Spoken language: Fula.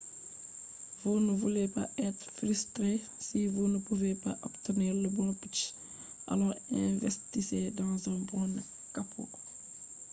ɓe ɗon nder mahugo ci’e juɗɗum guda joowey ha pellel man ɓe ɗon maha be pellel yahdu be ladde siwtare ha cakka pellel man